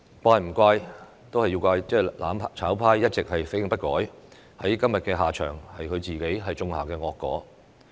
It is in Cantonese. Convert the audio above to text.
只能怪"攬炒派"一直死性不改，今天的下場是他們自己種下的惡果。